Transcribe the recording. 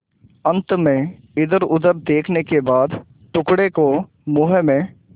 अंत में इधरउधर देखने के बाद टुकड़े को मुँह में